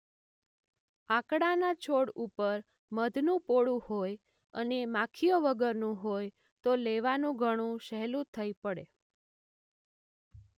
આકડાના છોડ ઉપર મધનું પોડું હોય અને માખીઓ વગરનું હોય તો લેવાનું ઘણું સહેલું થઇ પડે.